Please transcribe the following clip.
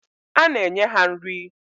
Ana enye ha nri.